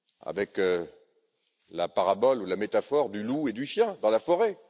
avec la parabole ou la métaphore du loup et du chien dans la forêt.